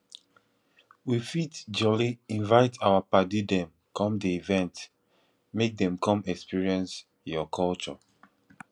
we fit jolly invite our paddy dem come di event make dem come experience your culture